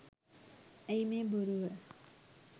ඇයි මේ බොරුව